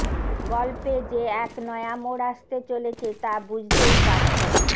গল্পে যে এক নয়া মোড় আসতে চলেছে তা বুঝতেই পারছেন